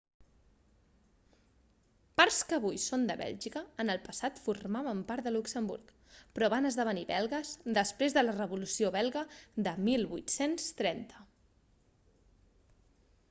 parts que avui són de bèlgica en el passat formaven part de luxemburg però van esdevenir belgues després de la revolució belga de 1830